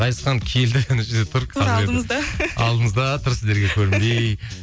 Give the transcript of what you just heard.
ғазизхан келді ана жерде тұр алдымызда тұр сіздерге көрінбей